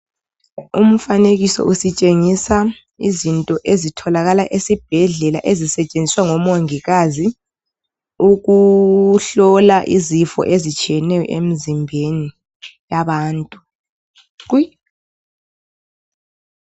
Umfanekiso ositshengisa izinto ezitholakala esibhedlela ezisetshenziswa ngomongikazi ukuhlola izifo ezehlukeneyo emzimbeni yabantu qwi